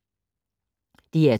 DR2